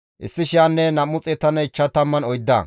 Azgaade zereththafe 2,322;